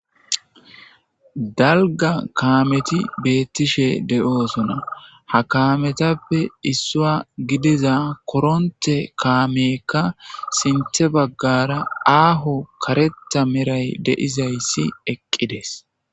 dalgga kametti bettishshe de'ossona ha kametappe issuwa giddiza koronte kamekka sinththe baggara aho kareththa meray de'izayssi eqqidees